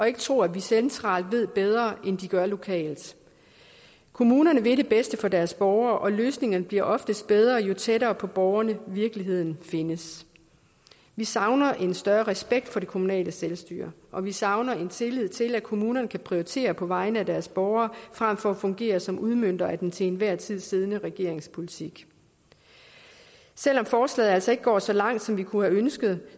ikke tro at man centralt ved bedre end de gør lokalt kommunerne vil det bedste for deres borgere og løsningerne bliver oftest bedre jo tættere på borgerne virkeligheden findes vi savner en større respekt for det kommunale selvstyre og vi savner en tillid til at kommunerne kan prioritere på vegne af deres borgere frem for at fungere som udmøntere af den til enhver tid siddende regerings politik selv om forslaget altså ikke går så langt som vi kunne have ønsket